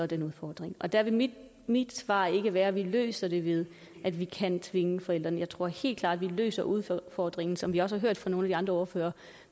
den udfordring der vil mit mit svar ikke være at vi løser det ved at vi kan tvinge forældrene jeg tror helt klart at vi løser udfordringen som jeg også hørt fra nogle af de andre ordførere